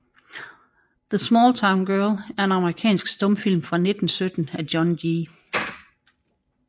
The Small Town Girl er en amerikansk stumfilm fra 1917 af John G